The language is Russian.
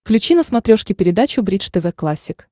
включи на смотрешке передачу бридж тв классик